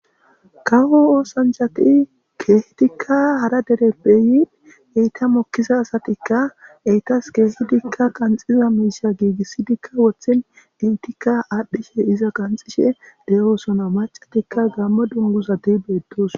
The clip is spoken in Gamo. kawo oosanchchati ke'idikka hara dereppe yin eyta mokiiza asattikka etas ke'ihidikka qanxiza miishsha giigissidikka woththin intika aadhdhishshe iza qanxishe de'oosona macatikka gammo dunguzati beettosona